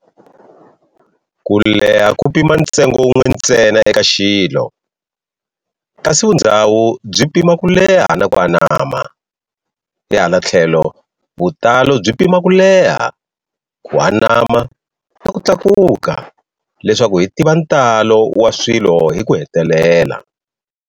Kuleha ku pima ntsengo wun'we ntsena eka xilo, kasi vundzhawu byi pima ku leha na ku anama, hi hala thlelo vutalo byi pima kuleha, ku anama na ku tlakuka leswaku hi tiva ntalo wa swilo hi ku hetelela.